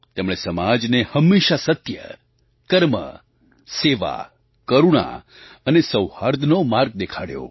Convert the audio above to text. તેમણે સમાજને હંમેશાં સત્ય કર્મ સેવા કરુણા અને સૌહાર્દનો માર્ગ દેખાડ્યો